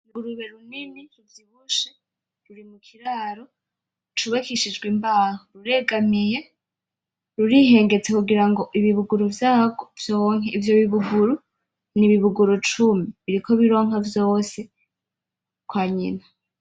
Urugurube runini kibushe ruri kiraro c'ubakishijwe imbaho ruregamiye rurihengetse kugirango ibibuguru vyako vyonke, ivyo bibuguru n'ibibuguru cumi biriko bironka vyose kwa nyina.